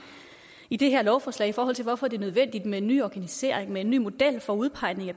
i det her lovforslag i forhold til hvorfor det er nødvendigt med en ny organisering med en ny model for udpegning af